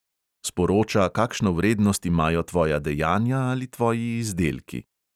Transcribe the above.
Sporoča, kakšno vrednost imajo tvoja dejanja ali tvoji izdelki.